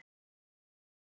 Daðey